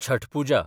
Chhath Puja